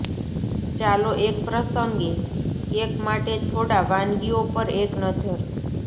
ચાલો એક પ્રસંગે કેક માટે થોડા વાનગીઓ પર એક નજર